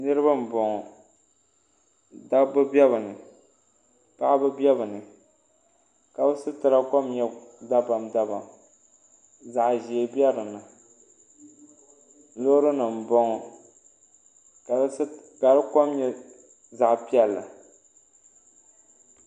niriba bɔŋɔ da ba bɛ be ni paɣ' bɛ be ni ka be sitɛra kom nyɛ da bam da bam zaɣ' ʒiɛ bɛ dini lori nim bɔŋɔ ka si ko nyɛ zaɣ' piɛli